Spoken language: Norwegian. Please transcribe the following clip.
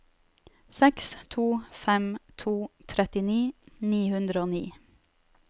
seks to fem to trettini ni hundre og ni